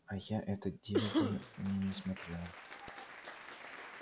а я этот дивиди не не смотрела